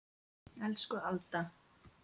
Elsku Alda.